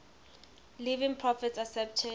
living prophets accepted